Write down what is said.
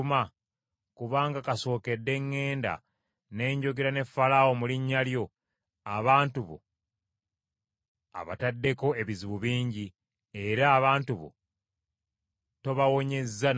Kubanga kasookedde ŋŋenda ne njogera ne Falaawo mu linnya lyo, abantu bo abataddeko ebizibu bingi; era abantu bo tobawonyezza n’akatono.”